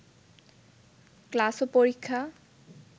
class ও পরীক্ষা